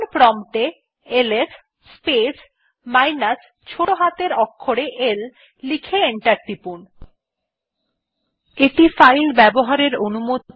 command prompt এ LS space minus ছোটো হাতের অক্ষরে l লিখে এন্টার টিপুন